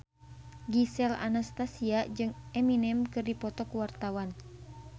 Gisel Anastasia jeung Eminem keur dipoto ku wartawan